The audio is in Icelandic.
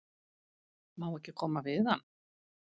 Má ekki koma við hann?